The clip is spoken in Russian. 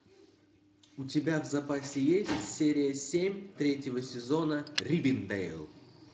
у тебя в запасе есть серия семь третьего сезона ривердейл